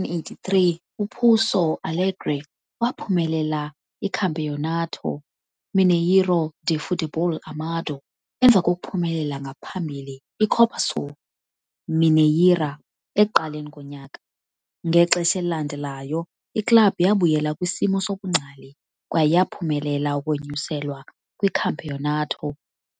83, uPouso Alegre waphumelela iCampeonato Mineiro de Futebol Amador, emva kokuphumelela ngaphambili iCopa Sul Mineira ekuqaleni konyaka. Ngexesha elilandelayo, iklabhu yabuyela kwisimo sobungcali, kwaye yaphumelela ukunyuselwa kwiCampeonato